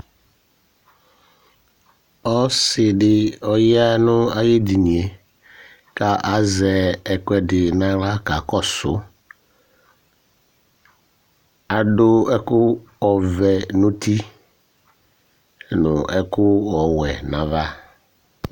Ɔsɩ dɩ ya nʋ ay'edinie ,kazɛ ɛkʋɛdɩ n'aɣla kakɔsʋ Adʋ ɛkʋ ɔvɛ n'uti nʋ ɛkʋ ɔwɛ n'ava